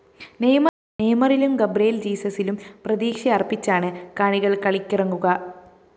നെയ്മറിലും ഗബ്രിയേല്‍ ജീസസിലും പ്രതീക്ഷയര്‍പ്പിച്ചാണ് കാനറികള്‍ കളിക്കിറങ്ങുക